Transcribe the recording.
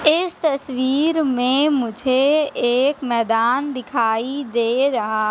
इस तस्वीर में मुझे एक मैदान दिखाई दे रहा--